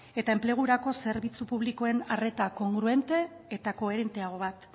eta enplegurako zerbitzu publikoen arreta kongruente eta koherenteago bat